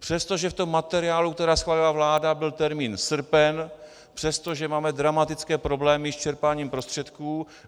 Přestože v tom materiálu, který schválila vláda, byl termín srpen, přestože máme dramatické problémy s čerpáním prostředků.